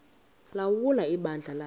ulawula ibandla lakhe